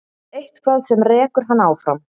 Eitthvað sem rekur hann áfram.